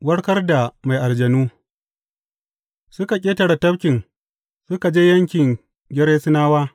Warkar da mai aljanu Suka ƙetare tafkin suka je yankin Gerasenawa.